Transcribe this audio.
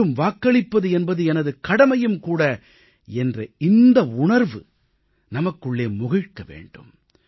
மேலும் வாக்களிப்பது என்பது எனது கடமையும் கூட என்ற இந்த உணர்வு நமக்குள்ளே ஏற்பட வேண்டும்